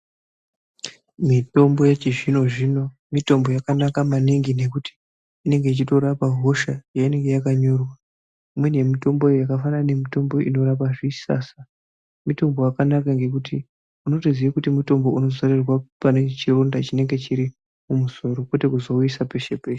Mitombo yechizvino zvino mitombo yakanaka maningi nekuti inenge ichitorapa hosha yeinenge yakanyorwa. Imweni yemutombo iyoyo yakafanana nemitombo inorapa zvisasa mitombo wakanaka ngekuti unotoziye kuti mutombo unozorerwa panechironda chinenge chiri mumusoro kwete kuzouisa peshe peshe.